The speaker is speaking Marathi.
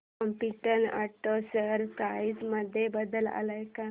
कॉम्पीटंट ऑटो शेअर प्राइस मध्ये बदल आलाय का